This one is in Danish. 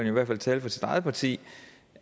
i hvert fald tale for sit eget parti